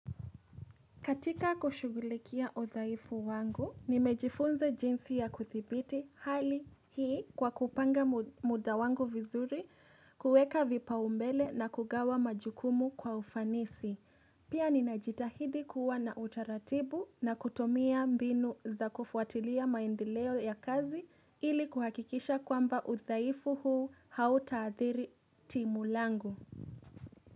Katika kushugulikia udhaifu wangu, nimejifunza jinsi ya kudhibiti hali hii kwa kupanga muda wangu vizuri, kuweka vipaumbele na kugawa majukumu kwa ufanisi. Pia ninajitahidi kuwa na utaratibu na kutumia mbinu za kufuatilia maendeleo ya kazi ili kuhakikisha kwamba udhaifu huu hautaadhiri timu langu.